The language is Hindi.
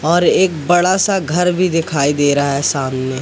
और एक बड़ा सा घर भी दिखाई दे रहा है सामने।